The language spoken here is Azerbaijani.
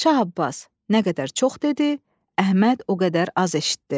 Şah Abbas nə qədər çox dedi, Əhməd o qədər az eşitdi.